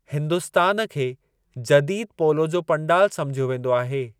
हिन्दुस्तान खे जदीदु पोलो जो पंडाल सम्झियो वेंदो आहे।